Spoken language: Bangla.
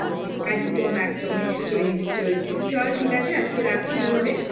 একদম একদম নিশ্চয়ই নিশ্চয়ই চল ঠিক আছে আজকে রাখছি তাহলে